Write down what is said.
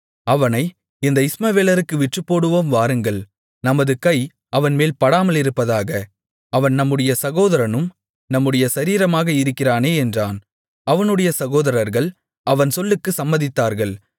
அவனை இந்த இஸ்மவேலருக்கு விற்றுப்போடுவோம் வாருங்கள் நமது கை அவன்மேல் படாமலிருப்பதாக அவன் நம்முடைய சகோதரனும் நம்முடைய சரீரமாக இருக்கிறானே என்றான் அவனுடைய சகோதரர்கள் அவன் சொல்லுக்கு சம்மதித்தார்கள்